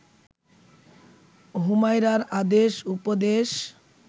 হুমায়রার আদেশ উপদেশ